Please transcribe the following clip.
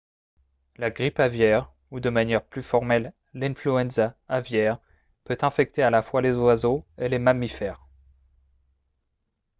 la grippe aviaire ou de manière plus formelle l'influenza aviaire peut infecter à la fois les oiseaux et les mammifères